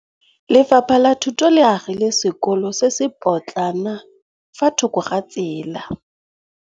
Lefapha la Thuto le agile sekôlô se se pôtlana fa thoko ga tsela.